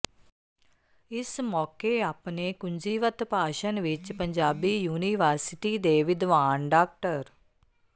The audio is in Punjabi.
ਇਸ ਮੌਕੇ ਆਪਣੇ ਕੁੰਜੀਵਤ ਭਾਸ਼ਣ ਵਿਚ ਪੰਜਾਬੀ ਯੂਨੀਵਰਸਿਟੀ ਦੇ ਵਿਦਵਾਨ ਡਾ